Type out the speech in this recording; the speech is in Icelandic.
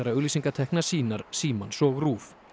auglýsingatekna sýnar Símans og RÚV